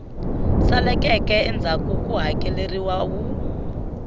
saleleke endzhaku ku hakeleriwa wu